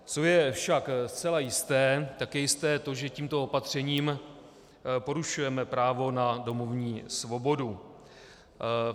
Co je však zcela jisté, tak je jisté to, že tímto opatřením porušujeme právo na domovní svobodu.